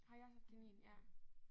Har I også haft kanin ja?